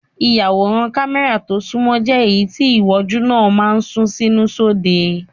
Ìyàwòrán kámẹ́rà tó sunmọ́ jẹ́ èyí tí ìwòjú náà máa ń sún sínú sóde.